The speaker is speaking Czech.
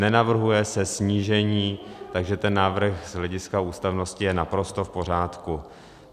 Nenavrhuje se snížení, takže ten návrh z hlediska ústavnosti je naprosto v pořádku.